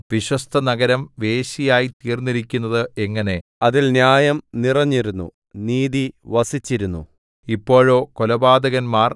വിശ്വസ്തനഗരം വേശ്യയായി തീർന്നിരിക്കുന്നത് എങ്ങനെ അതിൽ ന്യായം നിറഞ്ഞിരുന്നു നീതി വസിച്ചിരുന്നു ഇപ്പോഴോ കൊലപാതകന്മാർ